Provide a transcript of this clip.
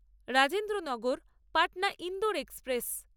Rajendranagar Patna Indore express